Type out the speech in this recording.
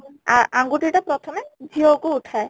ଆ ଆଙ୍ଗୁଠି ଟା ପ୍ରଥମେ ଝିଅ କୁ ଉଠାଏ